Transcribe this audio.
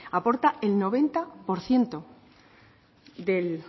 aporta el noventa por ciento del